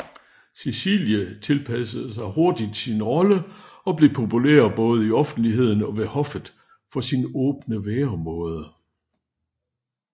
Cecilie tilpassede sig hurtigt sin rolle og blev populær både i offentligheden og ved hoffet for sin åbne væremåde